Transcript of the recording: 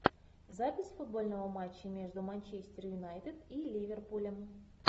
запись футбольного матча между манчестер юнайтед и ливерпулем